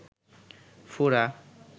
ফোড়া